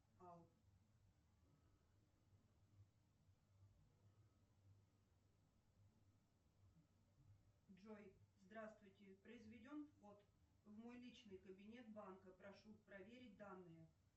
джой здравствуйте произведен вход в мой личный кабинет банка прошу проверить данные